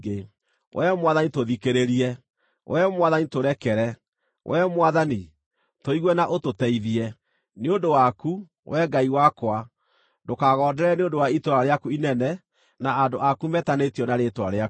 Wee Mwathani, tũthikĩrĩrie! Wee Mwathani tũrekere! Wee Mwathani, tũigue na ũtũteithie! Nĩ ũndũ waku, Wee Ngai wakwa, ndũkagonderere nĩ ũndũ wa itũũra rĩaku inene na andũ aku metanĩtio na Rĩĩtwa rĩaku.”